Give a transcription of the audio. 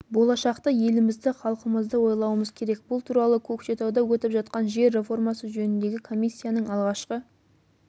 болашақты елімізді халқымызды ойлауымыз керек бұл туралы көкшетауда өтіп жатқан жер реформасы жөніндегі комиссияның алғашқы